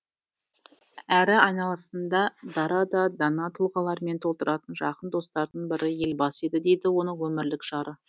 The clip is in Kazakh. әрі айналасында дара да дана тұлғалармен толтыратын жақын достарының бірі елбасы еді дейді оның өмірлік жары